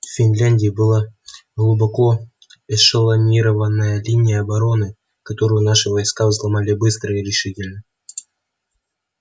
в финляндии была глубоко эшелонированная линия обороны которую наши войска взломали быстро и решительно